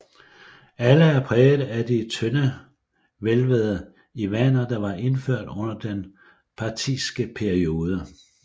Alle er præget af de tøndehvælvede iwaner der var indført under den parthiske periode